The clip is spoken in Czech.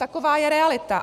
Taková je realita.